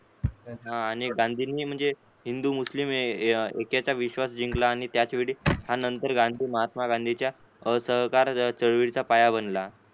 आणि गांधींनी म्हणजे हिंदू मुस्लिम ऐक्याचा विश्वास जिंकला आणि त्याचवेळी त्यानंतर गांधी महात्मा गांधींच्या असहकार चळवळीचा पाया बननाहो होते पण झालेला आहे